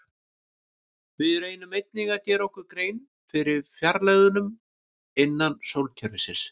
Við reyndum einnig að gera okkur grein fyrir fjarlægðunum innan sólkerfisins.